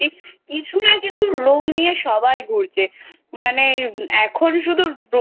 কিছু না কিছু রোগ নিয়ে সবাই ঘুরছে মানে এখন শুধু রোগ